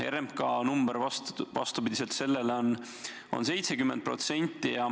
RMK number on 70%.